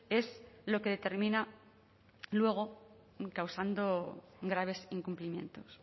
es lo que determina luego causando graves incumplimientos